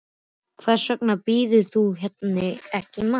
Hvers vegna býður þú henni ekki í mat.